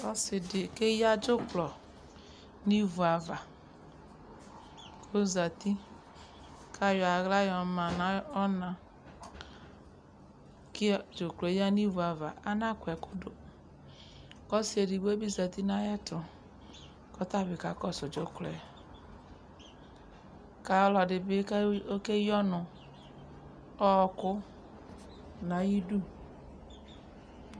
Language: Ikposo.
Ɔse de keya dzuklɔ no ivu ava ko zati ka yɔ ahla yɔ ma no ɔna kiɔ dzuklɔɛ ya no ivu ava Anakɔ ɛkɔtɔ ko ɔse edigbo zati no ayeto kɔta be kakɔso dzuklɔɛ ka ɔlɔde be ko oke yi ɔnu, ɔku no ayidu